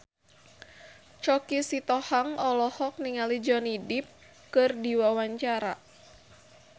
Choky Sitohang olohok ningali Johnny Depp keur diwawancara